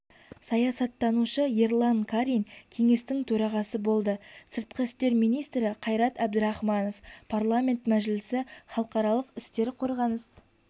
саясаттанушы ерлан карин кеңестің төрағасы болды сыртқы істер министрі қайрат әбдірахманов парламент мәжілісі халықаралық істер қорғаныс